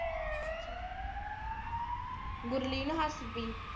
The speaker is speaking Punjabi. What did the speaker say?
ਗੁਰਲੀਨ ਹੱਸਪੀ।